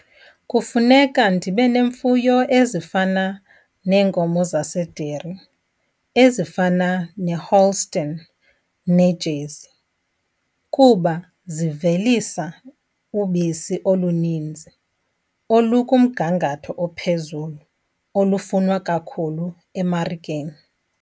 Kufuneka ndibe nemfuyo ezifana neenkomo zase-dairy, ezifana neHolstein neJersey, kuba zivelisa ubisi oluninzi olukumgangatho ophezulu, olufunwa kakhulu emarikeni.